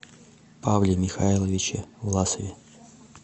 павле михайловиче власове